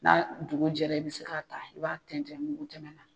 N'a dugujɛra i bɛ se k'a ta i b'a tɛntɛn mugu tɛmɛ na.